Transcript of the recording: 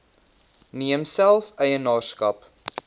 neem self eienaarskap